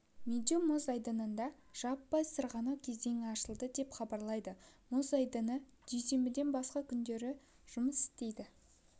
медеу мұз айдынында жаппай сырғанау кезеңі ашылды деп хабарлайды мұз айдыны дүйсенбіден басқа күндері жұмыс істейді